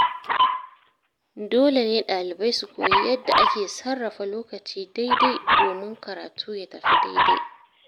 Dole ne ɗalibai su koyi yadda ake sarrafa lokaci daidai domin karatu ya tafi daidai.